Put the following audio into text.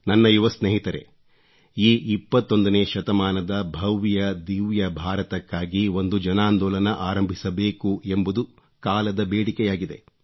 ನನ್ನ ಯುವ ಸ್ನೇಹಿತರೇ ಈ 21ನೇ ಶತಮಾನದ ಭವ್ಯದಿವ್ಯ ಭಾರತಕ್ಕಾಗಿ ಒಂದು ಜನಾಂದೋಲನ ಆರಂಭಿಸಬೇಕು ಎಂಬುದು ಕಾಲದ ಬೇಡಿಕೆಯಾಗಿದೆ